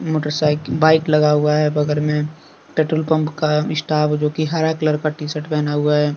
Motor साईक bike लगा हुआ है बगर में। पेट्रोल पंप का स्टाफ जो कि हरा कलर का टी शर्ट पहना हुआ है।